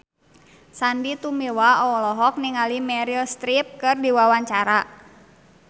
Sandy Tumiwa olohok ningali Meryl Streep keur diwawancara